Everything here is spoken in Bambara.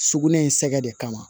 Sugunɛ in sɛgɛ de kama